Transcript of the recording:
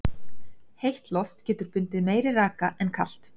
heitt loft getur bundið meiri raka en kalt